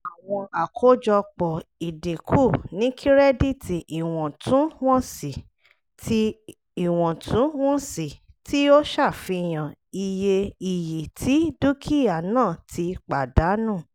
àwọn àkọ́jọpọ̀ ìdínkù ni kírẹ́dìtì iwọntún-wọnsì tí iwọntún-wọnsì tí ó ṣàfihàn iye iyì tí dúkìá náà ti pàdánù